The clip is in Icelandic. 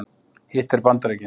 Hitt er Bandaríkin.